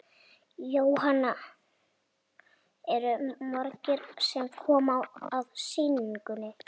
Jóhann: Eru margir sem koma að sýningunni?